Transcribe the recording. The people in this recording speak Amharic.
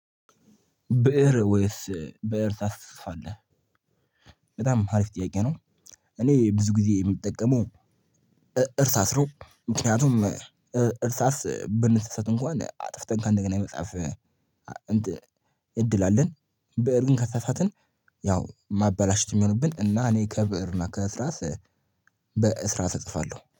ብእር ወይስ ብእር ታስፅፋለህ በጣም አሪፍ ጥያቄ ነው። እኔ ብዙ ጊዜ የምጠቀመው። እርሳስ ነው ምክንያቱም እርሳስ ብንሳሳት እንኳን አጥፍተን ከእንደገና የመጽሐፍ እድል አለን። በእር ግን ከተሳሳትን ያው ማበላሸት የሚሆንብን እና እኔ ከብእር እና ከስራስ። በእስራስ እጽፋለሁ